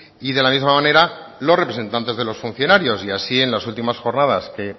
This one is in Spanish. y de la misma manera los representantes de los funcionarios y así en las últimas jornadas que